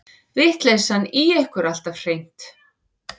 Vitleysan í ykkur alltaf hreint.